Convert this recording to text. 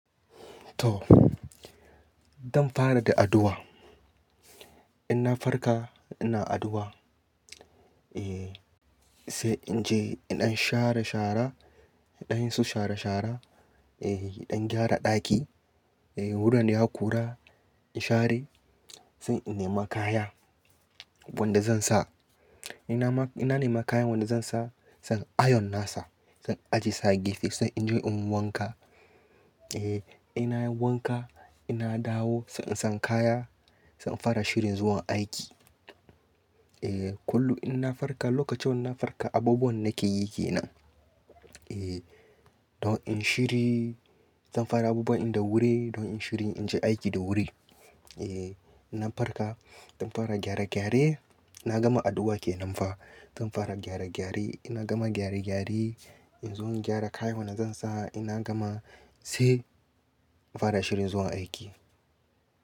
To, zan fara da addu'a. Ina farka ina addu'a, eh, sai in je indan share shara, indan su shara shara, eh, indan gyara ɗaki, eh, wuraren da ya kura in share, sai in nema kaya wanda zan sa. Ina nema kayan wanda zan sa, zan iron nasa, zan ajiye sa a gefe, sai in je in yi wanka. Eh, ina yin wanka ina dawo sai in san kaya, zan fara shirin zuwa aiki. Eh, kullum ina farka lokacin ina farka abubuwan nake yi ke nan. Eh, don in shiryi, zan fara abubuwa in da wuri don in shiryi in je aiki da wuri. Eh, ina farka zan fara gyare gyare, ina gama addu'a ke nan fa, zan fara gyare gyare. Ina gama gyare gyare in zo in gyara kayan wanda zan sa ina gama sai fara shirin zuwa aiki.